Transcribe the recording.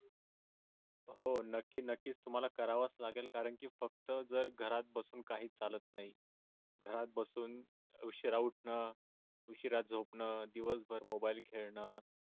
हो नक्की नक्कीच तुम्हाला करावाच लागेल कारण की फक्त जर घरात बसून काही चालत नाही घरात बसून उशिरा उठण उशीरा झोपन दिवसभर मोबाईल खेळण